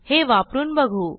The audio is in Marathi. हे वापरून बघू